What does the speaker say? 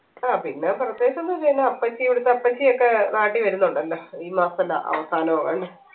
ആ പിന്നെ പ്രത്യേകിച്ച് ഒന്നുല്ല പിന്നെ അപ്പച്ചി ഇവിടുത്തെ അപ്പച്ചി ഒക്കെ നാട്ടി വരുന്നുണ്ട് എന്താ ഈ മാസം la അവസാനോ അങ്ങനെ